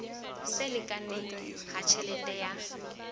se lekane ha tjhelete ya